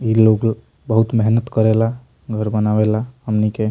इ लोग बहुत मेहनत करेला घर बनावेला हमनी के।